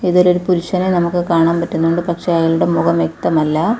ഇതിലൊരു പുരുഷനെ നമുക്ക് കാണാൻ പറ്റുന്നുണ്ട് പക്ഷേ അയാളുടെ മുഖം വ്യക്തമല്ല.